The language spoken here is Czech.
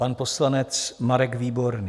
Pan poslanec Marek Výborný.